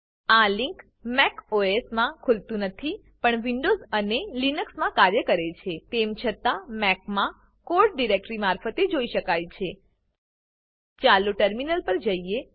આ link Mac OS માં ખુલતું નથી પણ વિન્ડોવ્ઝ અને લીનક્સમાં કાર્ય કરે છે તેમ છતાં મેકમાં કોડ ડીરેક્ટરી મારફતે જોઈ શકાય છે ચાલો ટર્મિનલ પર જઈએ